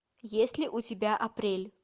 есть ли у тебя апрель